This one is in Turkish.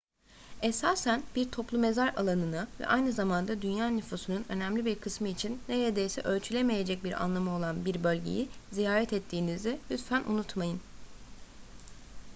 esasen bir toplu mezar alanını ve aynı zamanda dünya nüfusunun önemli bir kısmı için neredeyse ölçülemeyecek bir anlamı olan bir bölgeyi ziyaret ettiğinizi lütfen unutmayın